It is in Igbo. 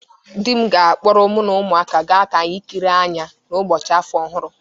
Di m ga-akpọrọ mu na umuaka ga ka anyi kịrịe anya n'ụbọchị afọ ọhụrụ